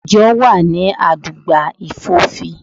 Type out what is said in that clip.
Ìjo mi wà ní àdúgbà Ìfòfín